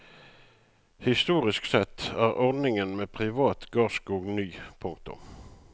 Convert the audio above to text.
Historisk sett er ordningen med privat gardsskog ny. punktum